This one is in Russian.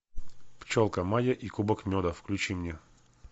пчелка майя и кубок меда включи мне